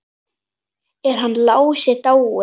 Er hann Lási dáinn?